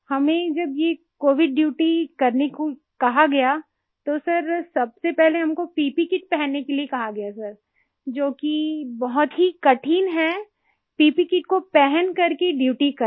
हमें जब ये कोविड ड्यूटी करने को कहा गया तो सर सबसे पहले हमको प्पे किट पहनने के लिए कहा गया सर जो कि बहुत ही कठिन है प्पे किट को पहन करके ड्यूटी करना